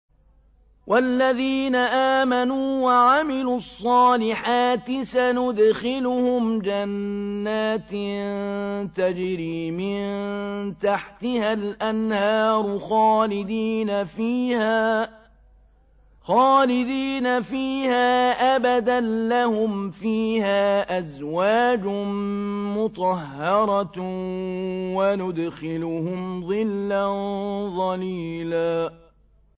وَالَّذِينَ آمَنُوا وَعَمِلُوا الصَّالِحَاتِ سَنُدْخِلُهُمْ جَنَّاتٍ تَجْرِي مِن تَحْتِهَا الْأَنْهَارُ خَالِدِينَ فِيهَا أَبَدًا ۖ لَّهُمْ فِيهَا أَزْوَاجٌ مُّطَهَّرَةٌ ۖ وَنُدْخِلُهُمْ ظِلًّا ظَلِيلًا